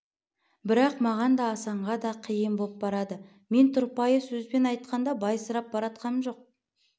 бірақ маған да асанға да қиын боп барады мен тұрпайы сөзбен айтқанда байсырап баратқам жоқ